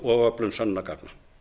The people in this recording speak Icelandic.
og öflun sönnunargagna